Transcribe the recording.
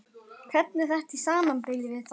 Hvernig er þetta í samanburði við það?